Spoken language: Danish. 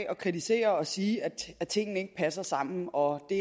og kritisere og sige at tingene ikke passer sammen og det